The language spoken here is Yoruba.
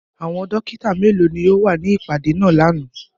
Àwọn dokita melo ni o wa ni ipade naa làná?